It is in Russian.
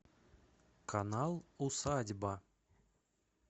канал усадьба